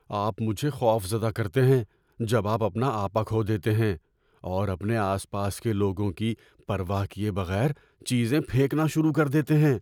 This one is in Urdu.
آپ مجھے خوفزدہ کرتے ہیں جب آپ اپنا آپا کھو دیتے ہیں اور اپنے آس پاس کے لوگوں کی پرواہ کیے بغیر چیزیں پھینکنا شروع کر دیتے ہیں۔